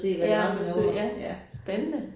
Ja på besøg ja. Spændende